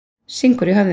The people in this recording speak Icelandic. Syngur í höfðinu.